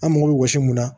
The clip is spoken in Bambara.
An mago bɛ wɔsi mun na